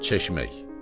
Çeşmək.